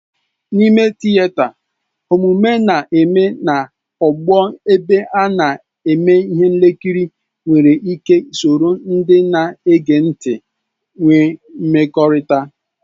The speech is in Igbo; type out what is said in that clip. N'ime tịeta, omume na-eme na ogbo ebe ndị na-eme ihe nkiri nwere ike soro ndị na-ege ntị nwee mmekọrịta.